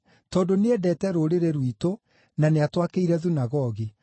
tondũ nĩendete rũrĩrĩ rwitũ na nĩatwakĩire thunagogi.”